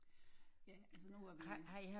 Ja altså nu er vi